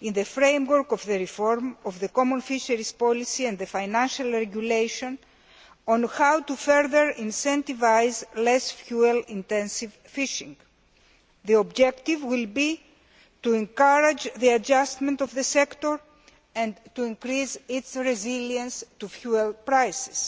in the framework of the reform of the common fisheries policy and the Financial Regulation, on how to further incentivise less fuel intensive fishing. The objective will be to encourage the adjustment of the sector and to increase its resilience to fuel prices.